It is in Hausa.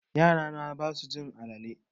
Yara na basu cin alale.